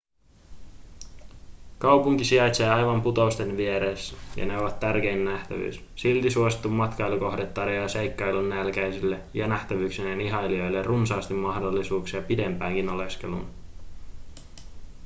kaupunki sijaitsee aivan putousten vieressä ja ne ovat tärkein nähtävyys silti suosittu matkailukohde tarjoaa seikkailunnälkäisille ja nähtävyyksien ihailijoille runsaasti mahdollisuuksia pidempäänkin oleskeluun